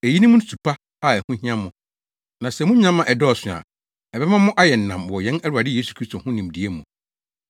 Eyinom ne su pa a ɛho hia mo. Na sɛ munya ma ɛdɔɔso a, ɛbɛma mo ayɛ nnam wɔ yɛn Awurade Yesu Kristo ho nimdeɛ mu.